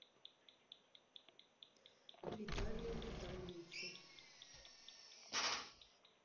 виталию витальевичу